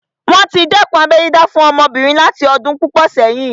Wọ́n tí dẹ́kun abẹ́ dídá fún àwọn ọmọbìnrin láti ọdún púpọ̀ sẹ́yìn